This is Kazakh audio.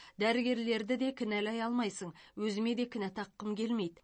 дәрігерлерді де кінәлай алмайсың өзіме де кінә таққым келмейді